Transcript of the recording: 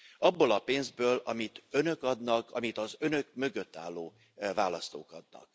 Abból a pénzből, amit Önök adnak, amit az Önök mögött álló választók adtak.